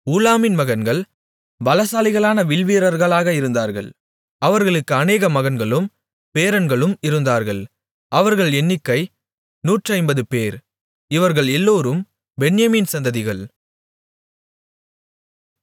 ஊலாமின் மகன்கள் பலசாலிகளான வில்வீரர்களாக இருந்தார்கள் அவர்களுக்கு அநேக மகன்களும் பேரன்களும் இருந்தார்கள் அவர்கள் எண்ணிக்கை நூற்றைம்பதுபேர் இவர்கள் எல்லோரும் பென்யமீன் சந்ததிகள்